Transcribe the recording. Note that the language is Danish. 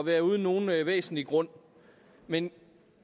være uden nogen væsentlig grund men